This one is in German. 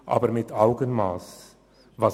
Aber dies soll mit Augenmass geschehen: